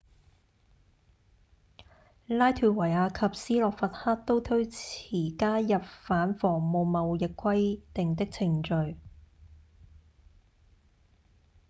拉脫維亞及斯洛伐克都推遲加入反仿冒貿易協定的程序